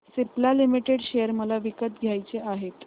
Cipla limited share मला विकत घ्यायचे आहेत